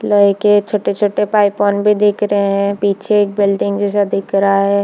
लोहै के छोटे- छोटे पाइप मन भी दिख रहै है पीछे एक बिल्डिंग जैसा दिख रहा है।